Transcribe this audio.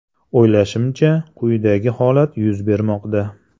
O‘ylashimcha, quyidagi holat yuz bermoqda.